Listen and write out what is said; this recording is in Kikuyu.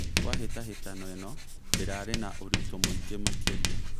Kwa hĩtahĩtano ĩno ndĩrarĩ na ũritũ mũingĩ makĩria